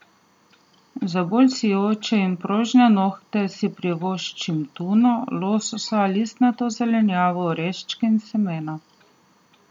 Za bolj sijoče in prožne nohte si privoščite tuno, lososa, listnato zelenjavo, oreščke in semena.